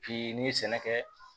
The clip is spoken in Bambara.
Bi n'i ye sɛnɛ kɛ